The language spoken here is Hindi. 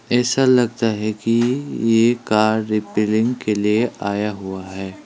ऐसा लगता है कि ये कार रिपेयरिंग के लिए आया हुआ है।